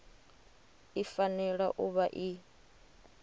i fanela u vha i